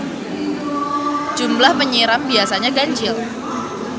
Jumlah penyiram biasanya ganjil.